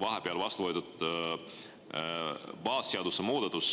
Vahepeal vastu võetud baasseaduse muudatus